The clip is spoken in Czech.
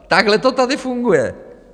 Takhle to tady funguje.